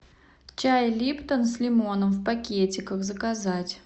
чай липтон с лимоном в пакетиках заказать